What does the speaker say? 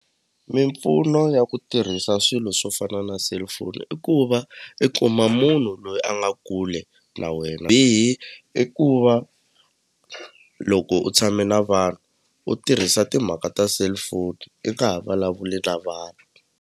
Mimpfuno ya ku tirhisa swilo swo fana na cellphone i ku va i kuma munhu loyi a nga kule na wena bihi i ku va loko u tshame na vanhu u tirhisa timhaka ta cellphone i nga ha vulavuli na vanhu.